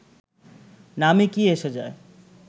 নামে কী এসে যায়